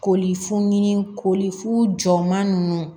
Koli funu koli fu jɔ ma nunnu